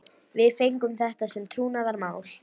Við fengum þetta sem trúnaðarmál